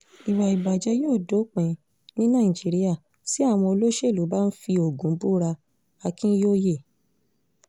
ìwà ìbàjẹ́ yóò dópin ní nàìjíríà tí àwọn olóṣèlú bá ń fi ogun búra akínyòòye